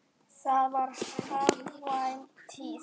Þá var hagkvæm tíð.